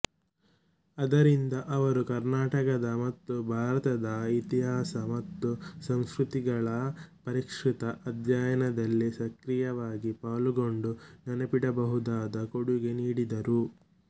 ಅದರಿಂದ ಅವರ ಕರ್ನಾಟಕದ ಮತ್ತು ಭಾರತದ ಇತಿಹಾಸ ಮತ್ತು ಸಂಸ್ಕೃತಿಗಳ ಪರಿಷ್ಕೃತ ಅಧ್ಯಯನದಲ್ಲಿ ಸಕ್ರಿಯವಾಗಿ ಪಾಲುಗೊಂಡು ನೆನಪಿಡಬಹುದಾದ ಕೊಡುಗೆ ನೀಡಿದರು